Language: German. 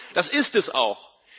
das ist es auch.